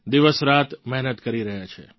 દિવસરાત મહેનત કરી રહ્યા છે